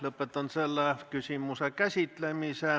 Lõpetan selle küsimuse käsitlemise.